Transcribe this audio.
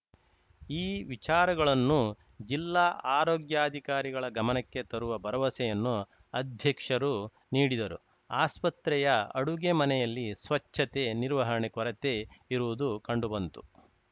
ಈ ವಿಚಾರಗಳನ್ನು ಜಿಲ್ಲಾ ಆರೋಗ್ಯಾಧಿಕಾರಿಗಳ ಗಮನಕ್ಕೆ ತರುವ ಭರವಸೆಯನ್ನು ಅಧ್ಯಕ್ಷರು ನೀಡಿದರು ಆಸ್ಪತ್ರೆಯ ಅಡುಗೆ ಮನೆಯಲ್ಲಿ ಸ್ವಚ್ಛತೆ ನಿರ್ವಹಣೆ ಕೊರತೆ ಇರುವುದು ಕಂಡುಬಂತು